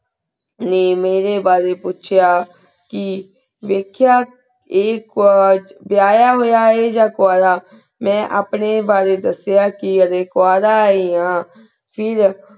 ਮੀ ਮੇਰੀ ਬਰੁ ਪੁਚੇਯਾ ਕੀ ਵੇਖੇਯਾ ਆਯ ਕੁਓ ਵੇਯਾ ਹੂਯ ਆਯ ਯਾ ਕੁਵਾਰਾ ਮੈਂ ਅਪਨ੍ਯਨ ਬਰੀ ਦਸਿਆ ਅਸੀ ਕੁਵਾਰਾ ਹੀ ਆਂ ਫੇਰ